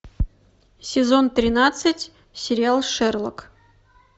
сезон тринадцать сериал шерлок